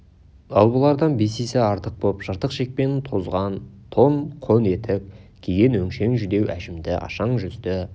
ал бұлардан бес есе артық боп жыртық шекпен тозған тон қон етік киген өңшең жүдеу әжімді ашаң жүзді